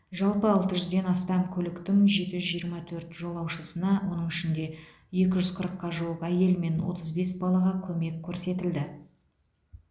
жалпы алты жүзден астам көліктің жеті жүз жиырма төрт жолаушысына оның ішінде екі жүз қырыққа жуық әйел мен отыз бес балаға көмек көрсетілді